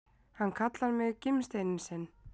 Hann kallar mig gimsteininn sinn!